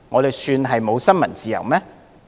這算是沒有新聞自由嗎？